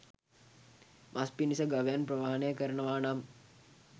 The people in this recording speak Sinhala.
මස් පිණිස ගවයන් ප්‍රවාහනය කරනවා නම්